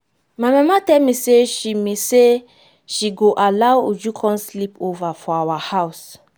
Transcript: my mama tell me say she me say she go allow uju come sleep over for our house